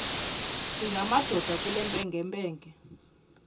singamadoda kule mpengempenge